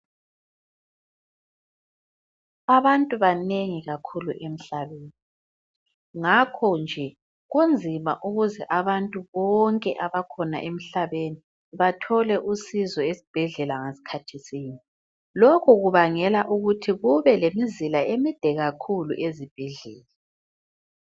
Abantu banengi kakhulu emhlabeni ngakho nje kunzima ukuze abantu bonke abakhona emhlabeni bethole usizo esibhedlela ngasikhathi sinye lokhu kubangela ukuthi kube lemizila emide ezibhedlela.